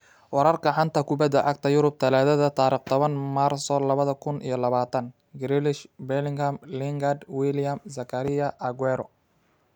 Wararka xanta kubada cagta Yurub Talaado tarqh tobaan maarso laba kuun iyo labataan: Grealish, Bellingham, Lingard, Willian, Zakaria, Aguero